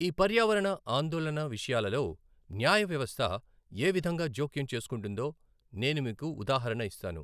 ఈ పర్యావరణ ఆందోళన విషయాలలో న్యాయ వ్యవస్థ ఏవిధంగా జోక్యం చేసుకుంటుందో నేను మీకు ఉదాహరణ ఇస్తాను.